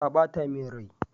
Ta bata min rai.